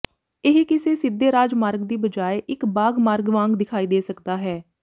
ਇਹ ਕਿਸੇ ਸਿੱਧੇ ਰਾਜ ਮਾਰਗ ਦੀ ਬਜਾਏ ਇੱਕ ਬਾਗ਼ ਮਾਰਗ ਵਾਂਗ ਦਿਖਾਈ ਦੇ ਸਕਦਾ ਹੈ